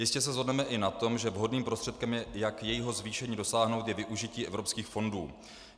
Jistě se shodneme i na tom, že vhodným prostředkem, jak jejího zvýšení dosáhnout, je využití evropských fondů.